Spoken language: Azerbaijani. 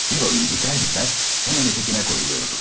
Bir oyun biter bitməz, hemen ötekine koyuluyordum.